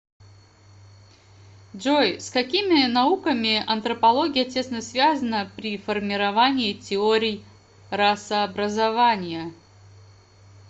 джой с какими науками антропология тесно связана при формировании теорий расообразования